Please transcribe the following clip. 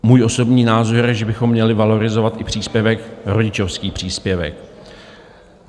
Můj osobní názor je, že bychom měli valorizovat i příspěvek, rodičovský příspěvek.